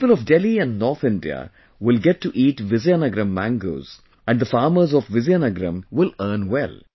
The people of Delhi and North India will get to eat Vizianagaram mangoes, and the farmers of Vizianagaram will earn well